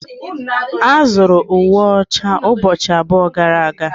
A zụrụ uwe ọcha ụbọchị abụọ gara aga.